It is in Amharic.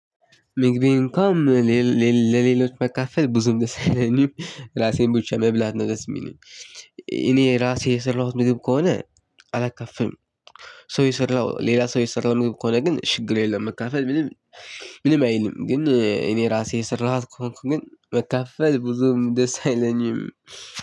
ምግቤን እንኳ ለሌሎች ባካፍል ብዙም ደስ አይለኝም ሬሴው ብቻ መብላት ነው ደስ የሚለኝ እኔ ራሴ የሰራሁት ምግብ ከሆነ አላካፍልም። ሰው የሰራው ሌላ ሰው የሰራው ምግብ ከሆነ ግን ችግር የለም። መካፈል ምንም ምንም አይልም ግን እኔ ራሴ የሰራኋት ከሆንኩ ግን መካፈል ብዙም ደስ አይለኝም።